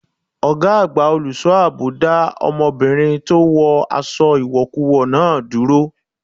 Ọgá àgbà olùṣọ́ àbò dá ọmọbìnrin tó wọ aṣọ ìwọ̀kuwọ̀ náà dúró.